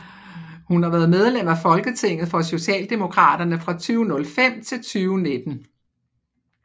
Hun har været medlem af Folketinget for Socialdemokraterne fra 2005 til 2019